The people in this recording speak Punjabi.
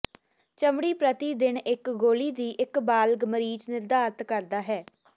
ਚਮੜੀ ਪ੍ਰਤੀ ਦਿਨ ਇੱਕ ਗੋਲੀ ਦੀ ਇੱਕ ਬਾਲਗ ਮਰੀਜ਼ ਨਿਰਧਾਰਤ ਕਰਦਾ ਹੈ